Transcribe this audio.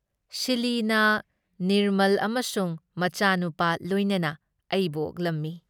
ꯁꯤꯂꯤꯅ ꯅꯤꯔꯃꯜ ꯑꯃꯁꯨꯡ ꯃꯆꯥꯅꯨꯄꯥ ꯂꯣꯏꯅꯅ ꯑꯩꯕꯨ ꯑꯣꯛꯂꯝꯃꯤ ꯫